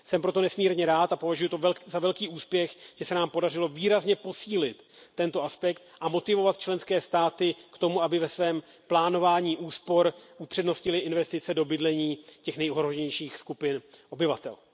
Jsem proto nesmírně rád, a považuji to za velký úspěch, že se nám podařilo výrazně posílit tento aspekt a motivovat členské státy k tomu, aby ve svém plánování úspor upřednostnily investice do bydlení těch nejohroženějších skupin obyvatel.